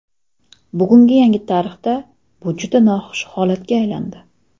Bugungi yangi tarixda bu juda noxush holatga aylandi.